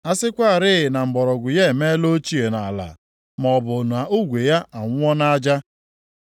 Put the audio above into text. A sịkwarị na mgbọrọgwụ ya emeela ochie nʼala, maọbụ na ogwe ya anwụọ nʼaja,